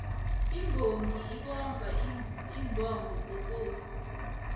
imbongi ibonga iimbongo zekosi